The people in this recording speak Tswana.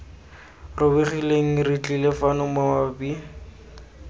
robegileng re tlile fano mabapi